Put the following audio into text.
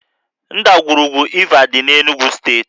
Ndagwurugwu Iva dị na steeti Enugwu